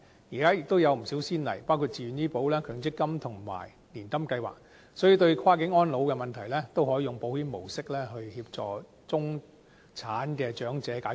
現時亦有不少先例，包括自願醫保、強制性公積金和年金計劃，所以，對跨境安老的問題也可以用保險模式來協助中產長者解決。